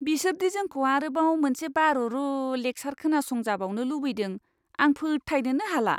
बिसोर दि जोंखौ आरोबाव मोनसे बारुरु लेक्सार खोनासंजाबावनो लुबैदों आं फोथायनोनो हाला!